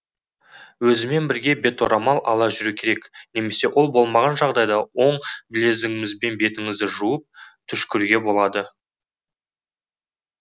өзімен бірге беторамал ала жүру керек немесе ол болмаған жағдайда оң білегімізбен бетіңізді жауып түшкіруге болады